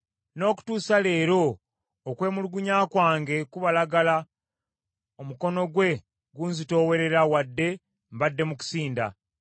“N’okutuusa leero okwemulugunya kwange kubalagala, omukono gwe gunzitoowerera wadde mbadde mu kusinda.